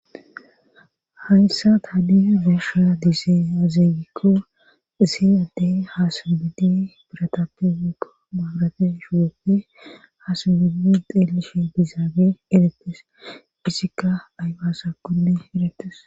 hayssa tani be'asha diizayi aze gikko isi addey haa simbidi biratappe woyiko maabrate shuboppe haa simddi xeelishe dizaage erettes izikka ayba asakonne erettes